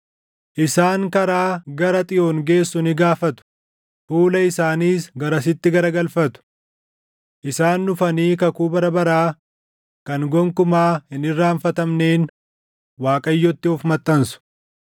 “Isaan karaa gara Xiyoon geessu ni gaafatu; fuula isaaniis garasitti garagalfatu. Isaan dhufanii kakuu bara baraa kan gonkumaa hin irraanfatamneen Waaqayyotti of maxxansu.